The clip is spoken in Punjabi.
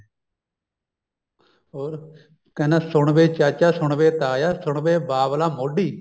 ਹੋਰ ਕਹਿੰਦਾ ਸੁਣ ਵੇ ਚਾਚਾ ਸੁਣ ਵੇ ਤਾਇਆ ਸੁਣ ਵੇ ਬਾਵਲਾ ਮੋਡੀ